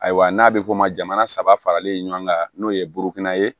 Ayiwa n'a bɛ fɔ o ma jamana saba faralen ɲɔgɔn kan n'o ye burukina ye